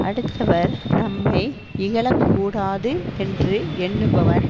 அடுத்தவர் நம்மை இகழக்கூடாது என்று எண்ணுபவன்